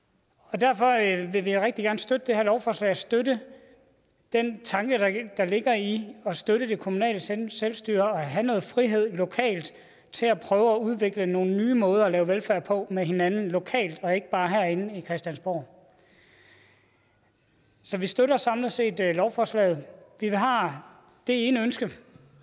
derfor vil vi rigtig gerne støtte det her lovforslag støtte den tanke der ligger i at støtte det kommunale selvstyre og have noget frihed lokalt til at prøve at udvikle nogle nye måder at lave velfærd på med hinanden lokalt og ikke bare herinde fra christiansborg så vi støtter samlet set lovforslaget vi har det ene ønske